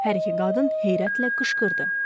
Hər iki qadın heyrətlə qışqırdı.